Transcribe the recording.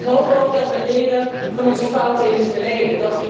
Ik hoop ook dat we leren van onze fouten in het verleden.